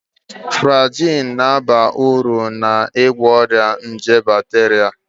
Flagyl ga-aba uru n'ịgwọ ọrịa nje bakteria